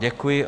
Děkuji.